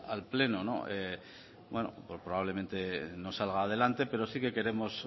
al pleno bueno pues probablemente no salga adelante pero sí que queremos